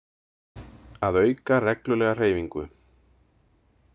Að auka reglulega hreyfingu.